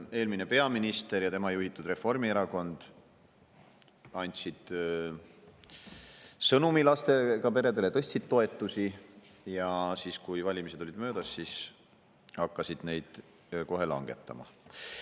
Eelmine peaminister ja tema juhitud Reformierakond andsid lastega peredele hea sõnumi, tõstsid toetusi, aga siis, kui valimised olid möödas, hakati kohe neid toetusi langetama.